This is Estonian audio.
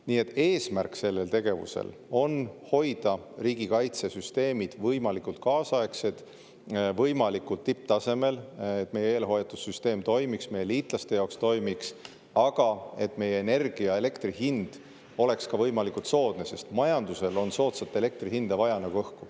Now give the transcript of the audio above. Nii et selle tegevuse eesmärk on hoida riigikaitsesüsteemid võimalikult kaasaegsed, võimalikult tipptasemel, et meie eelhoiatussüsteem toimiks, sealhulgas ka meie liitlaste jaoks, aga et meie energia, elektri hind oleks ka võimalikult soodne, sest majandusel on soodsat elektri hinda vaja nagu õhku.